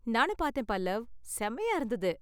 நானும் பாத்தேன் பல்லவ்! செமயா இருந்தது.